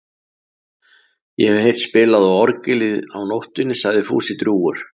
Ég hef heyrt spilað á orgelið á nóttunni sagði Fúsi drjúgur.